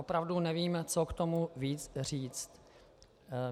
Opravdu nevím, co k tomu víc říct.